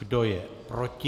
Kdo je proti?